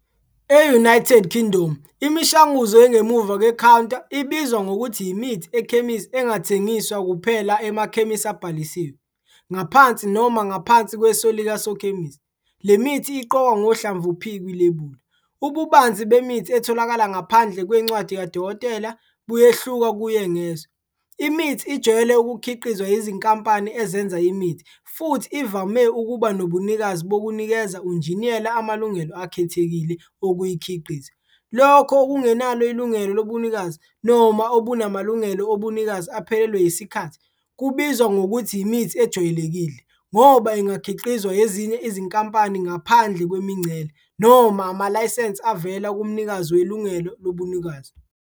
E-United Kingdom, imishanguzo engemuva kwekhawunta ibizwa ngokuthi yimithi ekhemisi engathengiswa kuphela emakhemisi abhalisiwe, ngaphansi noma ngaphansi kweso likasokhemisi. Le mithi iqokwa ngohlamvu P kwilebula. Ububanzi bemithi etholakala ngaphandle kwencwadi kadokotela buyehluka kuye ngezwe. Imithi ijwayele ukukhiqizwa yizinkampani ezenza imithi futhi ivame ukuba nobunikazi bokunikeza unjiniyela amalungelo akhethekile okuyikhiqiza. Lokho okungenalo ilungelo lobunikazi, noma obunamalungelo obunikazi aphelelwe yisikhathi, kubizwa ngokuthi yimithi ejwayelekile ngoba ingakhiqizwa ezinye izinkampani ngaphandle kwemingcele noma amalayisense avela kumnikazi welungelo lobunikazi.